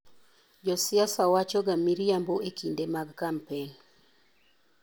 Josiasa wachoga miriambo e kinde mag kampen.